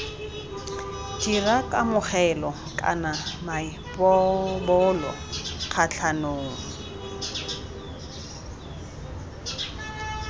dira kamogelo kana maipobolo kgatlhanong